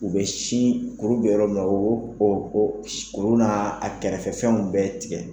U bɛ sin kuru bɛ yɔrɔ min na o o olu n'a a kɛrɛfɛ fɛnw bɛɛ tigɛ.